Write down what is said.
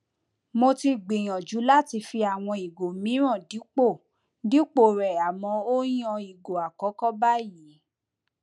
mo ti gbìyànjú láti fi àwọn ìgò mìíràn dípò dípò rẹ àmọ ó yàn ìgò akọkọ báyìí